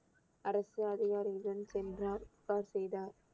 அரசு அதிகாரியுடன் சென்றார் புகார் செய்தார்